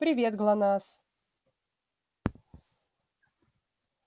привет глонассс